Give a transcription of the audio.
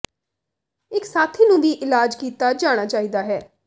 ਇੱਕ ਸਾਥੀ ਨੂੰ ਵੀ ਇਲਾਜ ਕੀਤਾ ਜਾਣਾ ਚਾਹੀਦਾ ਹੈ